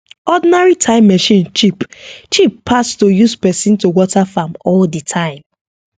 ordinary time machine cheap cheap pass to use person to water farm all the time